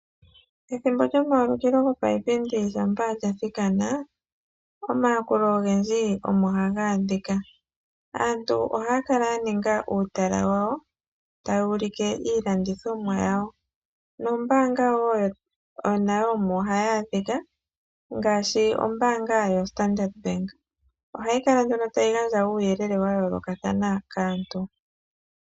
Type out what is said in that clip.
Ethimbo lyomaulikilo gopaipindi shampa lyathikana, omayakulo ogendji omo haga adhika. Aantu ohaya kala ya ninga uutala wawo taya ulike iilandithomwa yawo nombaanga nayo omo hayi adhika ngaashi ombaanga yoStandard bank. Ohayi kala nduno tayi gandja uuyelele wa yoolokathana kaantu.